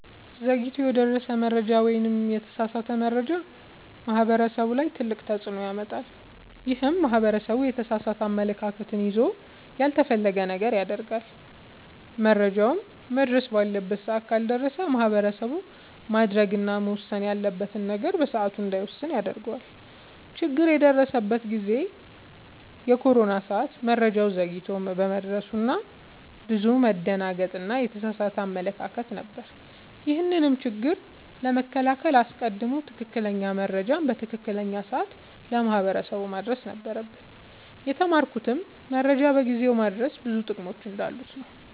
ዘግይቶ የደረሰ መረጃ ወይም የተሳሳተ መረጃ ማህበረሰቡ ላይ ትልቅ ተፅዕኖ ያመጣል። ይህም ማህበረሰቡ የተሳሳተ አመለካከት ይዞ ያልተፈለገ ነገር ያደርጋል። መረጃውም መድረስ ባለበት ሰዓት ካልደረሰ ማህበረሰቡ ማድረግ እና መወሰን ያለበትን ነገር በሰዓቱ እንዳይወስን ያደርገዋል። ችግር የደረሰበት ጊዜ የኮሮና ሰዓት መረጃው ዘግይቶ በመድረሱ ብዙ መደናገጥ እና የተሳሳተ አመለካከት ነበር። ይህንንም ችግር ለመከላከል አስቀድሞ ትክክለኛ መረጃ በትክክለኛው ሰዓት ለማህበረሰቡ ማድረስ ነበረብን። የተማርኩትም መረጃን በጊዜው ማድረስ ብዙ ጥቅሞች እንዳሉት ነወ።